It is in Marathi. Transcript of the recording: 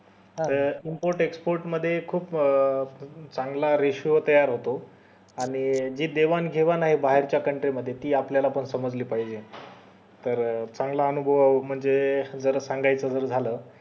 त import export मध्ये खूप चांगला ratio तयार होतो आणि जी देवाण घेवाण आहे बाहेरच्या country मध्ये ती आपल्याला पण समजली पाहिजे तर चांगला अनुभव म्हणजे जर सांगायचं झालं